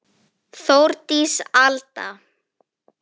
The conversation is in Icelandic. Þórdís Alda.